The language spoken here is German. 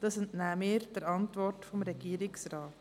Dies entnehmen wir der Antwort des Regierungsrates.